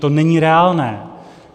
To není reálné.